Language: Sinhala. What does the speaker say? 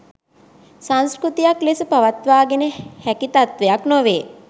සංස්කෘතියක් ලෙස පවත්වාගෙන හැකි තත්ත්වයක් නොවේ.